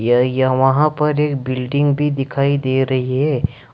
वहां पर एक बिल्डिंग भी दिखाई दे रही हैं।